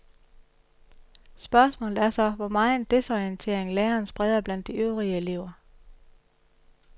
Spørgsmålet er så, hvor megen desorientering læreren spreder blandt de øvrige elever.